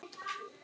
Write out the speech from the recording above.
Mikið hlegið.